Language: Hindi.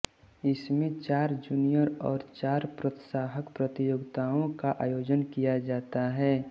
इसमें चार जूनियर और चार प्रोत्साहक प्रतियोगिताओं का आयोजन किया जाता है